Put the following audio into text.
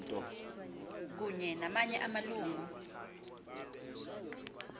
kunye namanye amalungu